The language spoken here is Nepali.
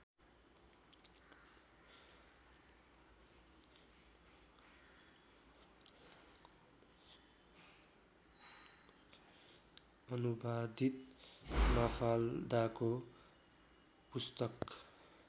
अनुवादित माफाल्दाको पुस्तक